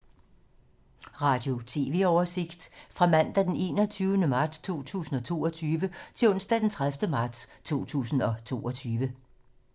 Radio/TV oversigt fra mandag d. 21. marts 2022 til onsdag d. 30. marts 2022